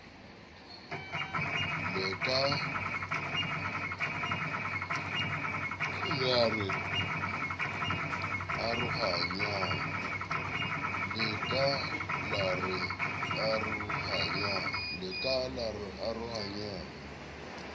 le ka la re arohanyang